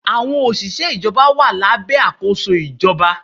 Àwọn òṣìṣẹ́ ìjọba wà lábẹ́ àkóso ìjọba.